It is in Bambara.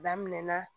Daminɛna